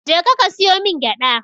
Je ka ka siyo min gyada.